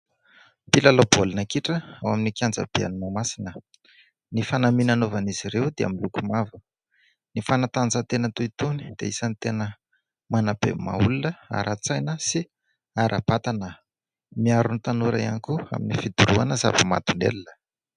Mpilalao baolina kitra ao amin'ny kianja be ny Mahamasina. Ny fanamiana anaovan'izy ireo dia miloko mavo. Ny fanatanjahatena toy itony dia isany tena manabe maha-olona ara-tsaina sy ara-batana. Miaro ny tanora ihany koa amin'ny fidorohana zava-mahadomelina.